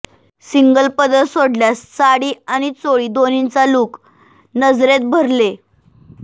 single पदर सोडल्यास साडी आणि चोळी दोन्हीचा लूक नजरेत भरले